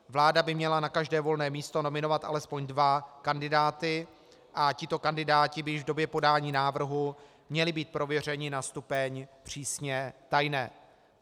Vláda by měla na každé volné místo nominovat alespoň dva kandidáty a tito kandidáti by již v době podání návrhu měli být prověřeni na stupeň přísně tajné.